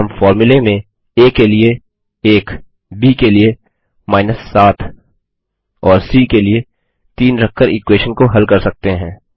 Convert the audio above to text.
और हम फ़ॉर्मूले में आ के लिए 1 ब के लिए 7 और सी के लिए 3 रखकर इक्वेशन को हल कर सकते हैं